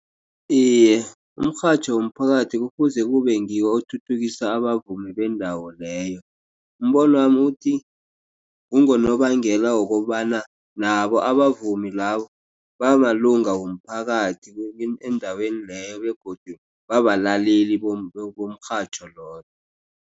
Iye umrhatjho womphakathi kufuze kube ngiwo othuthukisa abavumi bendawo leyo. Umbonwami uthi kungonobangela wokobana nabo abavumi labo bamalunga womphakathi endaweni leyo begodu babalaleli umrhatjho loyo.